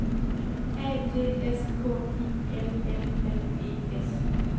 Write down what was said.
A D S K I L L L E S